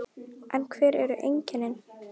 En hver eru einkennin?